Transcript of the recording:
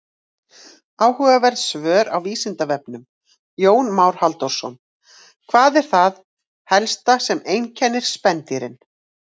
Áhugaverð svör á Vísindavefnum: Jón Már Halldórsson: Hvað er það helsta sem einkennir spendýrin?